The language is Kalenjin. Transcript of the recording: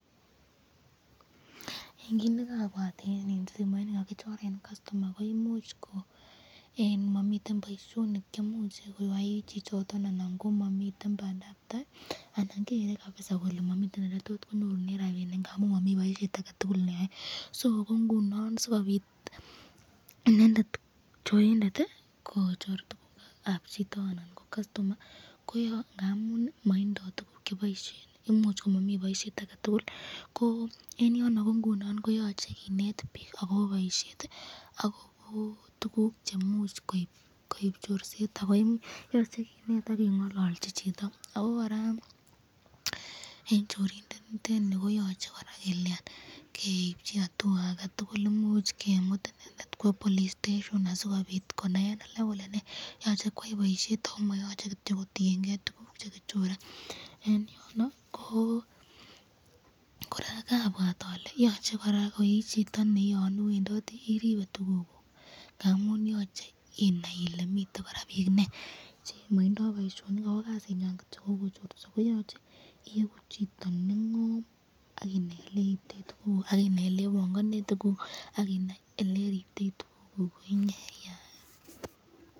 En kiit nekabwat en simoit nekakichoren kastoma koimuch ko momiten boishonik cheimuch koyoe chichoton anan ko momiten bandabtai anan kere kabisaa kolee momii eletot konyorunen rabinik ng'amun momii boishet aketukul neyoe, soo ko ng'unon sikobiit inendet chorindet kochor tukukab chito anan ko kastoma ko ngamun motindo tukuk cheboishen, imuch komomii boishet aketukul, ko en yono ko yoche kineet biik ak kobo boishet ak ko tukuk cheimuch koib chorset ak keng'ololchi chito, ak ko kora en chorindet en yuu koyoche keibchi atua aketukul imuch kemut inendet kwoo police station asikobiit konaen alak kolee yoche koyai boishet ak ko moyoche kityok kotieng'e tukuk chekichore, en yono ko kora kabwat olee yoche kora ko ii chito neiwendotii iribe tukukuk ng'amun yoche inaii ilee miten kora biik ineii chemotindo boishonik ak ko kasinywan ko cheuu kochorso koyoche iiku chito neng'om ak inai eleribtoi tukuk ak inai elebongondoi tukuk ak inai eleribtoi tukuk.